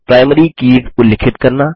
primary keys उल्लिखित करना